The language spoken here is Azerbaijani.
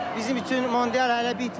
Bizim üçün mondial hələ bitməyib.